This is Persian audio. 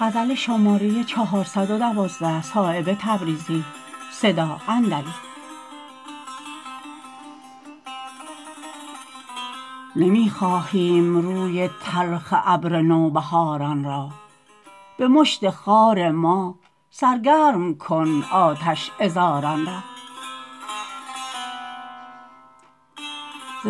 نمی خواهیم روی تلخ ابر نوبهاران را به مشت خار ما سرگرم کن آتش عذاران را